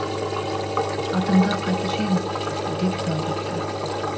атыңды қайтушы ең деп тоңқ етті